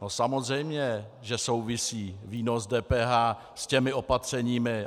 No samozřejmě že souvisí výnos DPH s těmi opatřeními.